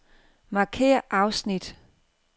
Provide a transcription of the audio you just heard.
Markér afsnit.